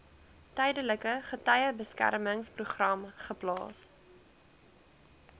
tydelike getuiebeskermingsprogram geplaas